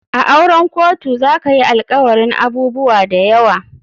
A auren kotu zakayi alkawarin abubuwa dayawa.